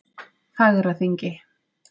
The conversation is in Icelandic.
Fagraþingi